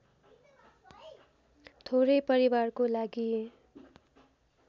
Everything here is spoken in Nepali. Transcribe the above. थोरै परिवारको लागि